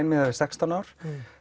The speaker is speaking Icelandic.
miðar við sextán ár